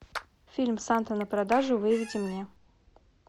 фильм санта на продажу выведи мне